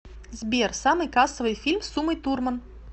сбер самый кассовый фильм с умой турман